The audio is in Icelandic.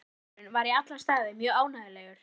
Fermingardagurinn var í alla staði mjög ánægjulegur.